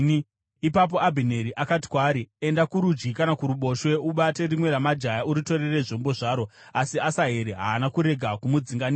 Ipapo Abhineri akati kwaari, “Enda kurudyi kana kuruboshwe; ubate rimwe ramajaya uritorere zvombo zvaro.” Asi Asaheri haana kurega kumudzinganisa.